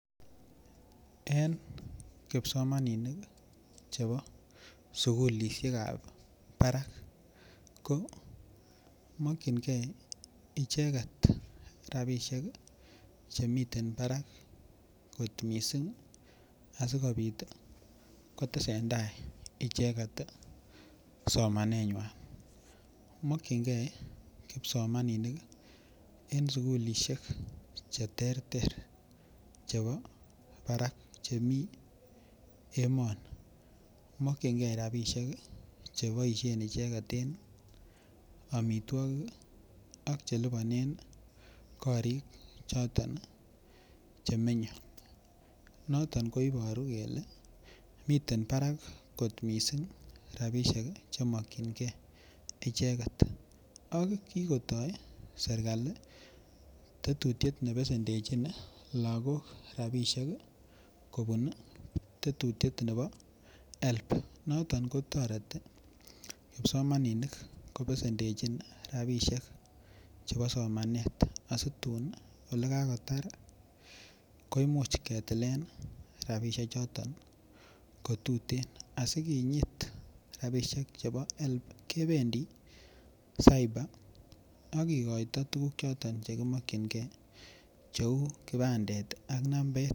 En kipsomaninik chebo sukulishekab Barak ko mokyingee icheget rabishek ii che miten Barak kot missing asikopit ii kotesen tai icheget somanenywan. Mokyingee kipsomaninik ii en sukulishek che terter chebo Barak chemii emoni. Mokyingee rabishek ii che boishen icheget en omitwokik ii ak che lipanen korik choton ii che menye. Noton ko iboru kelee miten barak kot missing rabishek che mokyingee icheget ak kikotoo serkali tetutyet ne besendechin lagok rabishek ii kopun tetutyet nebo HELB noton ko toreti kipsomaninik ko besendechin rabishek chebo somanet asitun ole kakotar ketilen rabishek choton ko tuten asi kinyit rabishek rabishek chebo HELB kebendii Cyber ak kigoito tuguk choton che kimokyin gee che uu kibandet ak nambet